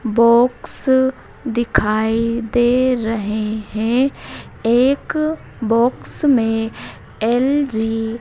box दिखाई दे रहे है एक बॉक्स में एल_जी --